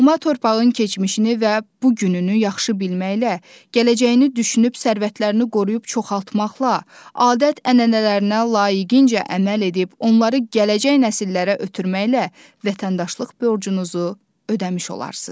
Doğma torpağın keçmişini və bu gününü yaxşı bilməklə, gələcəyini düşünüb sərvətlərini qoruyub çoxaltmaqla, adət-ənənələrinə layiqincə əməl edib, onları gələcək nəsillərə ötürməklə vətəndaşlıq borcunuzu ödəmiş olarsız.